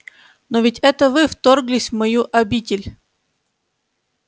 но ведь это вы вторглись в мою обитель